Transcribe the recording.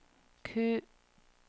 Q